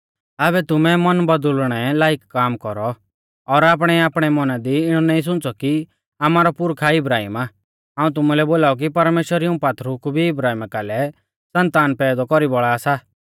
आबै तुमै मन बौदुल़णै लाईक काम कौरौ और आपणैआपणै मौना दी इणौ नाईं सुंच़ौ की आमारौ पुरखा इब्राहिम आ हाऊं तुमुलै बोलाऊ की परमेश्‍वर इऊं पात्थरु कु भी इब्राहिमा कालै सन्तान पैदौ कौरी बौल़ा सा